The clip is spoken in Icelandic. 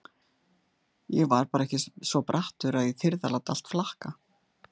Ég var bara ekki svo brattur að ég þyrði að láta allt flakka.